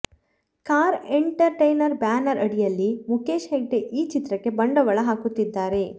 ಖಾರ entertainment banner ಅಡಿಯಲ್ಲಿ ಮುಖೇಶ್ ಹೆಗ್ಡೆ ಈ ಚಿತ್ರಕ್ಕೆ ಬಂಡವಾಳ ಹಾಕುತ್ತಿದ್ದಾರೆ